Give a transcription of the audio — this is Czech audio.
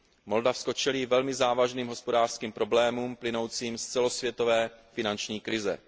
Moldavsko čelí velmi závažným hospodářským problémům plynoucím z celosvětové finanční krize.